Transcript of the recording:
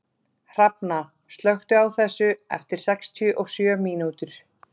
Hrafna, slökktu á þessu eftir sextíu og sjö mínútur.